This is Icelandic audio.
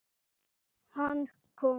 Kemur þegar ég bið hann.